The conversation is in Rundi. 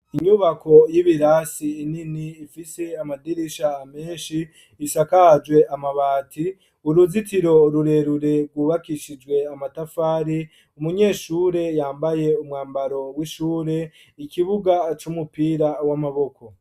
Inyubako y'ibirasi nini ifise amadirisha menshi isakajwe amabati, uruzitiro rurerure rwubakishijwe amatafari, umunyeshure yambaye umwambaro w'ishure, ikibuga c'umupira w'amaboko.